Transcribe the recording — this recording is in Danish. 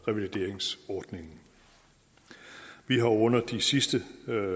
revalideringsordningen vi har under de sidste